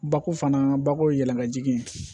Bako fana bako ye yɛlɛmajigin ye